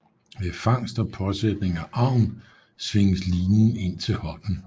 Ved fangst og påsætning af agn svinges linen ind til hånden